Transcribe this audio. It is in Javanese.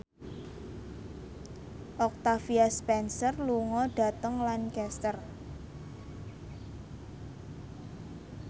Octavia Spencer lunga dhateng Lancaster